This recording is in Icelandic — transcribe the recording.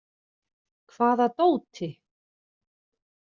Hvaða dóti?